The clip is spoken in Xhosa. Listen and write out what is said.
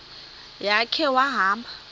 ya khe wahamba